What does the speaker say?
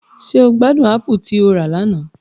Ṣe o gbadun apù ti o ra lana?